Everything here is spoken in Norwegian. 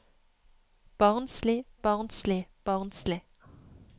barnslig barnslig barnslig